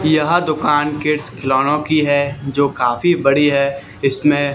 यह दुकान किड्स खिलौनों की है जो काफी बड़ी है इसमें--